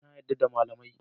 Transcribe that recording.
Na yarda da malamai